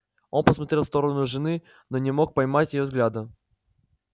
он посмотрел в сторону жены но не мог поймать её взгляда